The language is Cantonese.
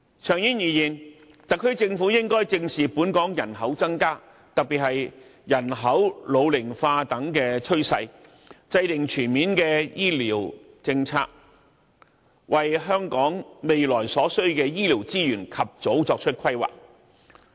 長遠而言，特區政府應該正視本港人口增加，特別是人口老齡化等趨勢，制訂全面的醫療政策，為香港未來所需的醫療資源及早作出規劃。